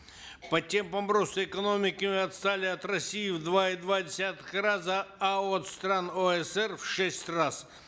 по темпам роста экономики мы отстали от россии в два и два десятых раза а от стран оср в шесть раз